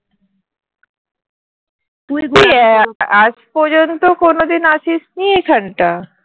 তুই কি আজ পর্যন্ত কোনোদিন আসিসনি এখানটায়